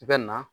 I bɛ na